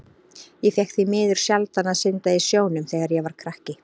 Ég fékk því miður sjaldan að synda í sjónum þegar ég var krakki.